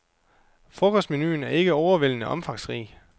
Frokostmenuen er ikke overvældende omfangsrig.